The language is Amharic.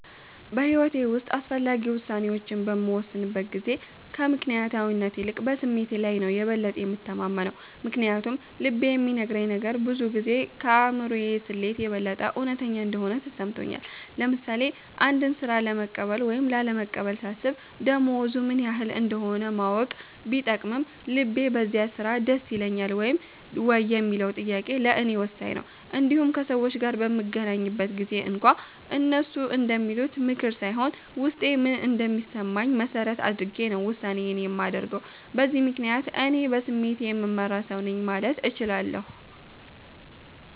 በሕይወቴ ውስጥ አስፈላጊ ውሳኔዎችን በምወስንበት ጊዜ ከምክንያታዊነት ይልቅ በስሜቴ ላይ ነው የበለጠ የምተማመነው። ምክንያቱም ልቤ የሚነግረኝ ነገር ብዙ ጊዜ ከአእምሮ ስሌት የበለጠ እውነተኛ እንደሆነ ተሰምቶኛል። ለምሳሌ አንድን ሥራ ለመቀበል ወይም ላለመቀበል ሳስብ፣ ደሞዙ ምን ያህል እንደሆነ ማወቅ ቢጠቅምም፣ ልቤ በዚያ ሥራ ደስ ይለኛል ወይ የሚለው ጥያቄ ለእኔ ወሳኝ ነው። እንዲሁም ከሰዎች ጋር በምገናኝበት ጊዜም እንኳ፣ እነሱ እንደሚሉት ምክር ሳይሆን ውስጤ ምን እንደሚሰማኝ መሠረት አድርጌ ነው ውሳኔዬን የማደርገው። በዚህ ምክንያት፣ እኔ በስሜቴ የምመራ ሰው ነኝ ማለት እችላለሁ።